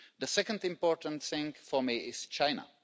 The second important thing for me is China.